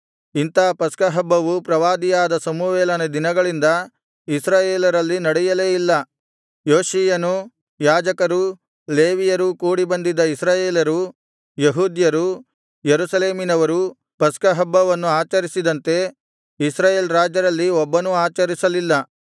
ಇಂಥಾ ಪಸ್ಕಹಬ್ಬವು ಪ್ರವಾದಿಯಾದ ಸಮುವೇಲನ ದಿನಗಳಿಂದ ಇಸ್ರಾಯೇಲರಲ್ಲಿ ನಡೆಯಲೇ ಇಲ್ಲ ಯೋಷೀಯನೂ ಯಾಜಕರೂ ಲೇವಿಯರೂ ಕೂಡಿಬಂದಿದ್ದ ಇಸ್ರಾಯೇಲರು ಯೆಹೂದ್ಯರು ಯೆರೂಸಲೇಮಿನವರೂ ಪಸ್ಕಹಬ್ಬವನ್ನು ಆಚರಿಸಿದಂತೆ ಇಸ್ರಾಯೇಲ್ ರಾಜರಲ್ಲಿ ಒಬ್ಬನೂ ಆಚರಿಸಲಿಲ್ಲ